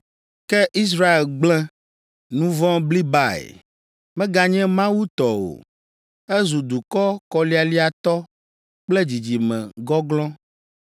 Ke Israel gblẽ: nu vɔ̃ blibae. Meganye Mawu tɔ o. Ezu dukɔ kɔlialiatɔ kple dzidzime gɔglɔ̃.